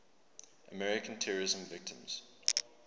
american terrorism victims